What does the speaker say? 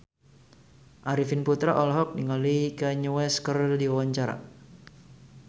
Arifin Putra olohok ningali Kanye West keur diwawancara